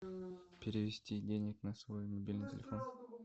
перевести денег на свой мобильный телефон